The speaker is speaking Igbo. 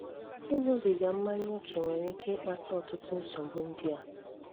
Íṅúbígá mmányá óké nwéré íké íkpátá ọtụtụ nsògbu ndị á: